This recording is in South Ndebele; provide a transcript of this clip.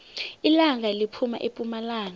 ilanga liphuma epumalanga